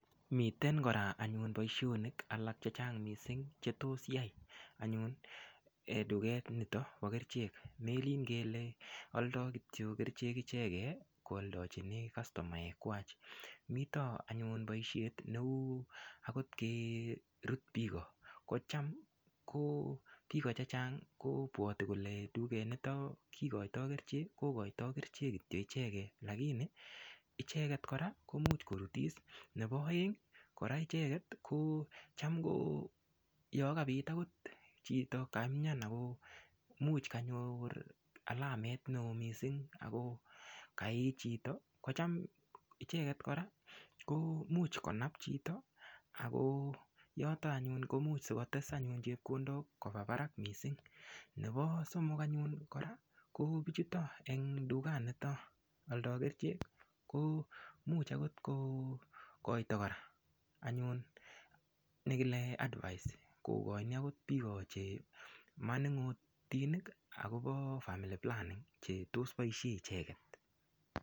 Miten kora anyun boishonik alak chechang' mising' chetos yai anyun tuget nito bo kerchek melin kele oldoi kityo kerchek ichegei kooldochini kastomek kwacha mito anyun boishet neu akot kerut biko kocham ko biko chechang' kobwoti kole tugenito kikoitoi kerchek kokoitoi kerchek kityo ichegei lakini ichegei kora komuch korutis nebo oeng' kora ichegei kocham yo kabit akot chito kaimyan akomuch kanyor alamet neo mising' akokaiich chito kocham ko ichegei kora komuch konap chito ako yoto anyun ko much sikotes anyun chepkondok koba barak mising' nebo somok anyun kora ko bichuto eng' tuganito oldoi kerichek ko much akot kokoitoi kora anyun nekile advise kokoini akot biko che maning'otinik akobo family planning chetos boishe icheget